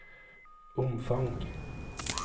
omfang